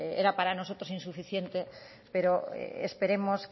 era para nosotros insuficiente pero esperemos